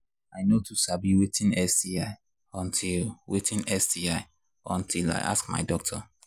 i no too sabi watin sti until watin sti until i ask my doctor